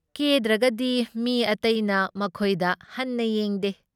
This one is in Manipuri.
ꯀꯦꯗ꯭ꯔꯒꯗꯤ ꯃꯤ ꯑꯇꯩꯅ ꯃꯈꯣꯏꯗ ꯍꯟꯅ ꯌꯦꯡꯗꯦ,